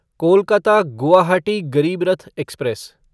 Kolkata Guwahati Garib Rath express